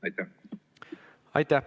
Aitäh!